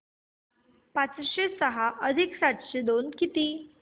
पाचशे सहा अधिक सातशे दोन किती